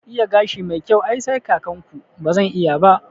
Iya gashi mai kyau ai sai kakan ku, bazan iya ba